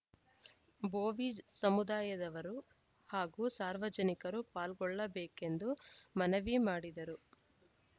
ಬೋವಿ ಸಮುದಾಯದವರು ಹಾಗೂ ಸಾರ್ವಜನಿಕರು ಪಾಲ್ಗೊಳ್ಳಬೇಕೆಂದು ಮನವಿ ಮಾಡಿದರು